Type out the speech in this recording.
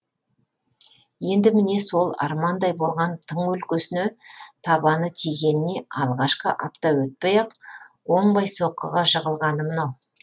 енді міне сол армандай болған тың өлкесіне табаны тигеніне алғашқы апта өтпей ақ оңбай соққыға жығылғаны мынау